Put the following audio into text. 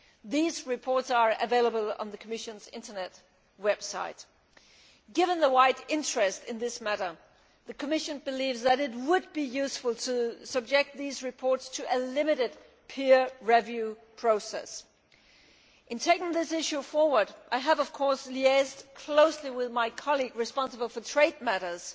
These reports are available on the Commission's website. Given the wide interest in this matter the Commission believes that it would be useful to subject these reports to a limited peer review process. In taking this issue forward I have liaised closely with my colleague responsible for trade matters